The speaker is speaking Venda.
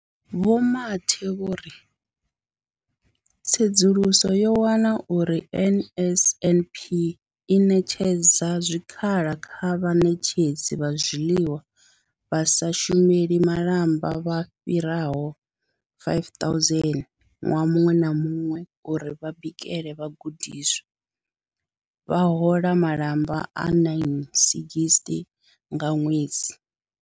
Vho Mathe vho ri tsedzuluso yo wana uri NSNP i ṋetshedza zwikhala kha vhaṋetshedzi vha zwiḽiwa vha sa shumeli malamba vha fhiraho 5 000 ṅwaha muṅwe na muṅwe uri vha bikele vhagudiswa, vha hola malamba a 960 nga ṅwedzi.